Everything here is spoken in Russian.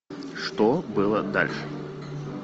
что было дальше